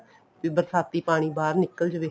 ਵੀ ਬਰਸਾਤੀ ਪਾਣੀ ਬਾਹਰ ਨਿੱਕਲ ਜਾਵੇ